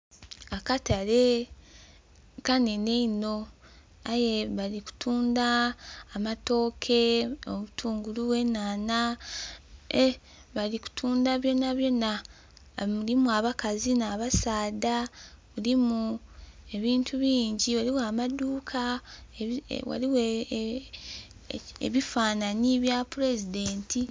Akatale kanene ino aye bali kutunda amatooke, obutungulu, enhanha, bali kutundha byonabyona. Mulimu abakazi nh'abasaadha mulimu ebintu bingi mulimu amadhuka ghaligho ebifanhanhi ebya president.